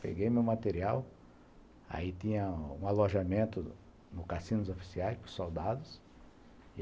Peguei meu material, aí tinha um alojamento no Cassino dos Oficiais pros soldados.